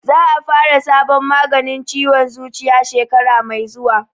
Za a fara sabon maganin ciwon zuciya shekara mai zuwa